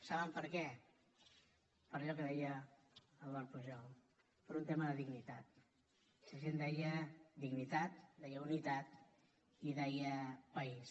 saben per què per allò que deia eduard pujol per un tema de dignitat la gent deia dignitat deia unitat i deia país